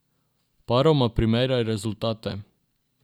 Paroma primerjaj rezultate.